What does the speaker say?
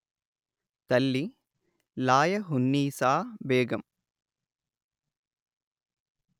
తల్లి లాయహున్నీసా బేగం